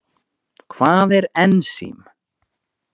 Hvað er ensím?